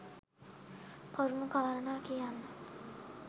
කරුණු කාරණා කියන්න